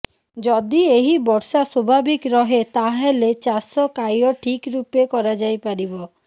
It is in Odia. ଯଦି ଏହି ବର୍ଷା ସ୍ୱଭାବିକ ରହେ ତାହାଲେ ଚାଷ କାର୍ୟ୍ୟ ଠିକ ରୂପେ କରାଯାଇ ପାରିବ